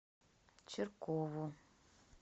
чиркову